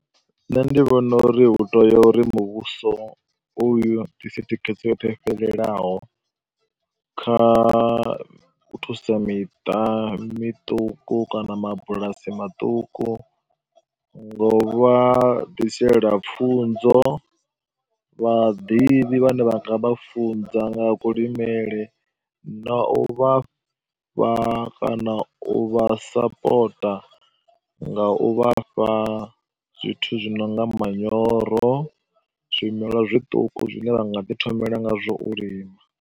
Nṋe ndi vhona uri hu tea uri muvhuso uyu u ḓise thikhedzo yoṱhe yo fhelelaho kha u thusa miṱa miṱuku kana mabulasi maṱuku nga u vha ḓisela pfunzo, vhaḓivhi vhane vha nga vha funza nga kulimele na u vha na u vha fha kana u vha sapota nga u vha fha zwithu zwi no nga manyoro, zwimelwa zwiṱuku zwine vha nga ḓi thomela ngazwo u lima.